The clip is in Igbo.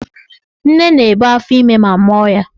Nne na-ebu afọime ma mụọ ya.